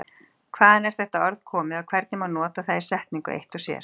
Hvaðan er þetta orð komið og hvernig má nota það í setningu eitt og sér?